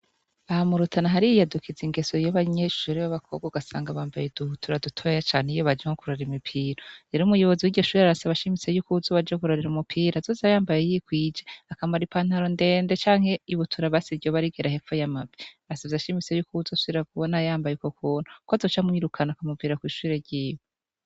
Ahamurutana hari yiy adukiza ingeso yo banyeshusre b'abakobwa ugasanga bambaye duhutura dutoya cane iyo bajemo kurura imipiro yera umuyobozi w'igishuri arasaba ashimise y'uko uzo ubajogurorira umupira azose ayambaye yikwije akamara i pantaro ndende canke ibutura basiryo barigera heko y'amabi asavye ashimise y'uko uwuzo sira gubona yambaye uko kuntu ko azoca mwirukana akamupira kwisha churekiwe.